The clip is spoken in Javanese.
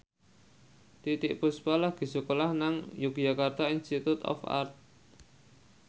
Titiek Puspa lagi sekolah nang Yogyakarta Institute of Art